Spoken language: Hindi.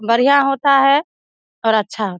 बढ़िया होता है और अच्छा हो --